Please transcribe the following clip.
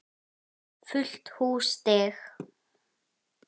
Fullt hús stiga.